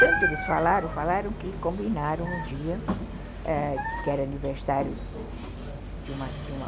Tanto eles falaram, falaram que combinaram um dia, ãh, que era aniversário de uma de uma